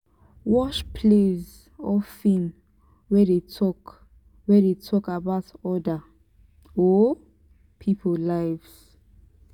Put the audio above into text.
watch plays or film wey dey talk wey dey talk about oda um pipo live